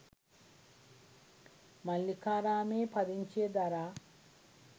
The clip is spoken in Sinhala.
මල්ලිකාරාමයේ පදිංචිය දරා